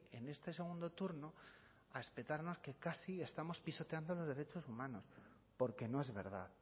en este segundo turno a espetarnos que casi estamos pisoteando los derechos humanos porque no es verdad